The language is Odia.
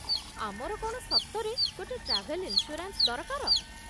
ଆମର କ'ଣ ସତରେ ଗୋଟେ ଟ୍ରାଭେଲ୍ ଇନ୍ସ୍ୟୁରାନ୍ସ୍ ଦରକାର?